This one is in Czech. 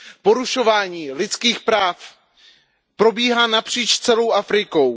Porušování lidských práv probíhá napříč celou Afrikou.